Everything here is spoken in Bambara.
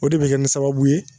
O de be kɛ ni sababu ye